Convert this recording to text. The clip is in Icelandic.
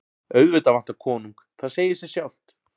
Auðvitað vantar konung, það segir sig sjálft.